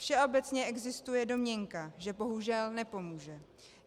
Všeobecně existuje domněnka, že bohužel nepomůže.